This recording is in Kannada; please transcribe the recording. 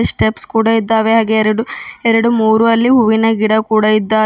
ಸ್ಟೆಪ್ಸ್ ಕೂಡ ಇದ್ದಾವೆ ಹಾಗೆ ಎರಡು ಎರಡು ಮೂರು ಅಲ್ಲಿ ಹೂವಿನ ಗಿಡ ಕೂಡ ಇದ್ದಾವೆ.